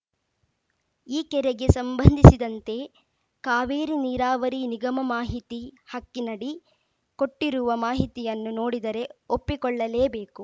ಈ ಕೆರೆಗೆ ಸಂಬಂಧಿಸಿದಂತೆ ಕಾವೇರಿ ನೀರಾವರಿ ನಿಗಮ ಮಾಹಿತಿ ಹಕ್ಕಿನಡಿ ಕೊಟ್ಟಿರುವ ಮಾಹಿತಿಯನ್ನು ನೋಡಿದರೆ ಒಪ್ಪಿಕೊಳ್ಳಲೇಬೇಕು